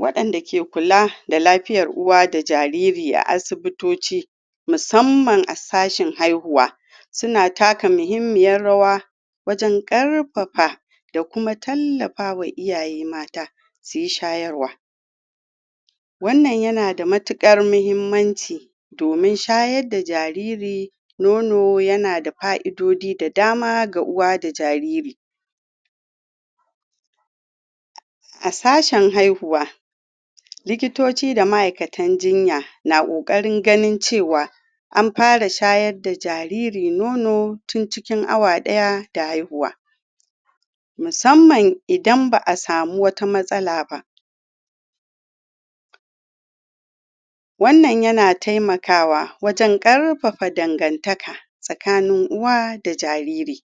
Wadanda ke kula da lafiyar uwa da jariri a asibitoci musamman a sashin haihuwa suna taka muhimmiyar rawa wajen karfafa da kuma tallafa wa iyaye mata su yi shayarwa. Wannan yana da matukar muhimmanci domin shayar da jariri nono yana da fa'idodi da dama ga uwa da jariri. A sashen haihuwa, Likitoci da ma'aikatan jinya na kokarin ganin cewa an fara shayar da jariri nono tun cikin awa daya da haihuwa. musamman idan ba a samu wata matsala ba. Wannan yana taimakawa wajen karfafa dangantaka tsakanin uwa da jariri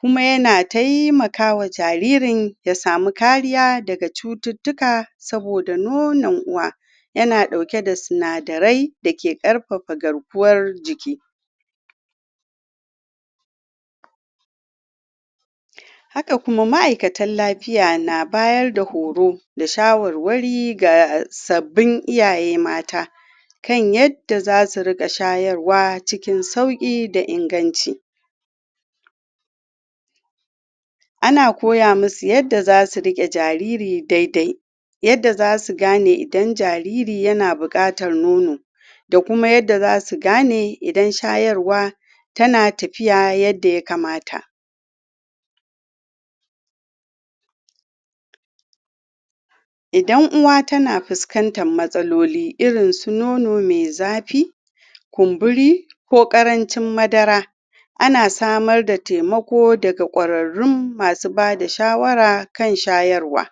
kuma yana taimaka wa jaririn ya samu kariya daga cututtuka saboda nonon uwa yana dauke da sunadarai dake karfafa garkuwar jiki. Haka kuma, ma'aikatan lafiya na bayar da horo da shawarwari ga sabbin iyaye mata Ana koya musu yadda zasu rike jariri daidai yadda zasu gane idan jariri yana bukatar nono da kuma yadda zasu gane idan shayarwa tana tafiya yadda ya kamata. Idan uwa tana fuskantan matsaloli irin su nono mai zafi, kumburi, ko karancin madara ana samar da taimako daga kwarrarun masu bada shawara kan shayarwa.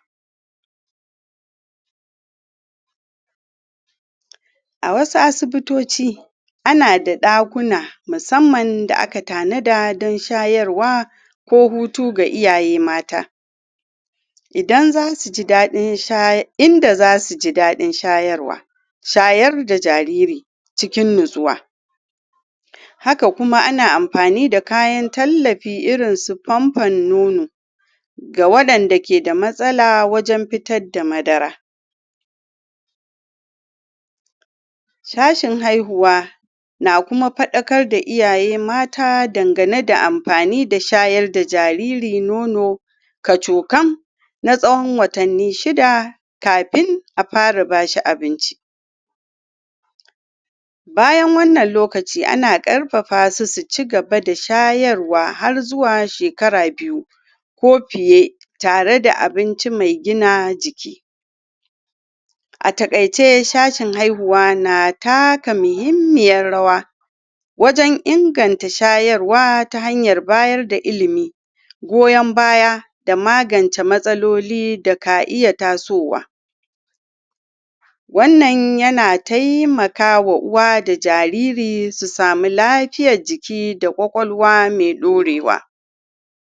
A wasu asibitoci, ana da dakuna musamman da aka tanada don shayarwa ko hutu ga iyaye mata. Idan zasu ji dadin shayar- inda zasu ji dadin shayarwa idan zasu ji dadin shay- inda zasu ji dadin shayarwa, shayar da jiriri cikin natsuwa. Haka kuma, ana amfani da kayan tallafi irin su ponpon nono ga wadanda ke da matsala wajen fitar da madara. Shashin haihuwa na kuma fadakar da iyaye mata dangane da amfani da shayar da jariri nono kacukam na tsahon watanni shida kafin a fara bashi abinci. Bayan wannan lokaci, ana karfafasu su cigaba da shayarwa har zuwa shekara biyu ko fiye tare da abinci mai gina jiki. A takaice, shashin haihuwa na taka muhimmiyar rawa wajen inganta shayarwa ta hanyar bayar da ilimi goyan baya da magance matsaloli da ka iya tasowa. Wannan yana taimakawa uwa da jariri su samu lafiyar jiki da kwakalwa mai daurewa.